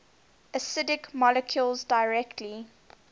acidic molecules directly